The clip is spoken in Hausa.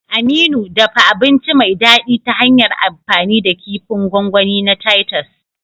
Aminu, dafa abinci mai daɗi ta hanyar amfani da kifin gwangwani na titus.